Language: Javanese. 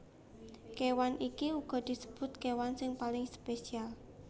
Kéwan iki uga disebut kéwan sing paling spesial